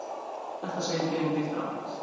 Þetta segir Benedikt rangt.